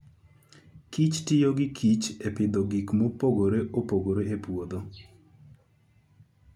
kich tiyo gi kich e pidho gik mopogore opogore e puodho.